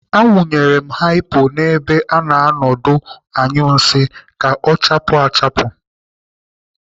Awụnyere m haipo n'ebe a na-anọ ọdụ anyụ nsị ka ọ chaapụ achapụ.